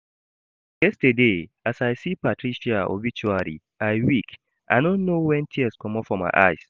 Yesterday, as I see Patricia obituary I weak, I no know when tears comot for my eyes